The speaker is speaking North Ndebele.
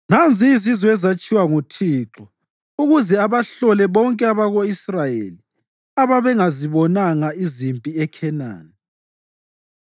Nanzi izizwe ezatshiywa nguThixo ukuze abahlole bonke abako-Israyeli ababengazibonanga izimpi eKhenani